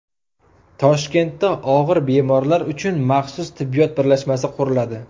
Toshkentda og‘ir bemorlar uchun maxsus tibbiyot birlashmasi quriladi.